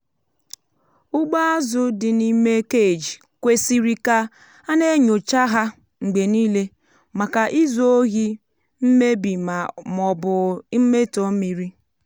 ụgbọ azụ dị n'ime cage kwesịrị ka a na-enyocha ha mgbe niile maka izu ohi mmebi ma ọ bụ mmetọ mmiri.